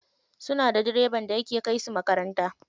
Suna da direban da yake kai su makaranta.